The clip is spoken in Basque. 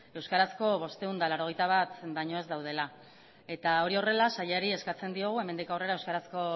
euskarazko bostehun eta laurogeita bat baina ez daudela eta hori horrela sailari eskatzen diogu hemendik aurrera euskarazko